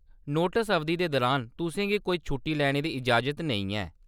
Notes अवधि दे दरान, तुसें गी कोई छुट्टी लैने दी इजाज़त नेईं ऐ।